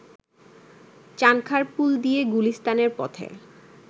চাঁনখারপুল দিয়ে গুলিস্তানের পথে